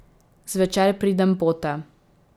Zvečer pridem pote.